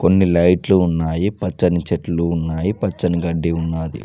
కొన్ని లైట్లు ఉన్నాయి పచ్చని చెట్లు ఉన్నాయి పచ్చని గడ్డి ఉన్నాది.